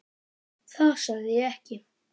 Það sagði ég ekki.